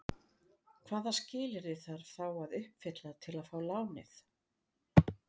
Hvaða skilyrði þarf þá að uppfylla til að fá lánið?